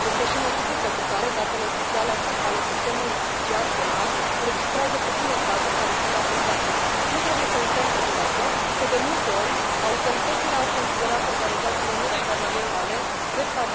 Este și motivul pentru care datele oficiale ale sistemului judiciar penal înregistrează puține cazuri care sunt raportate. Nu trebuie să uităm totodată că, de multe ori, autoritățile au considerat organizațiile neguvernamentale drept...